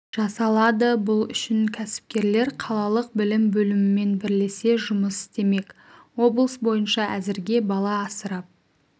жасалады бұл үшін кәсіпкерлер қалалық білім бөлімімен бірлесе жұмыс істемек облыс бойынша әзірге бала асырап